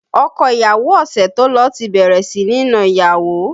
Ọkọ ìyàwó ọ̀sẹ̀ tó lọ ti bẹ̀rẹ̀ sí ní na ìyàwó